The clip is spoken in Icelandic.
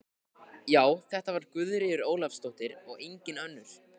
Já, þetta var Guðríður Ólafsdóttir og engin önnur!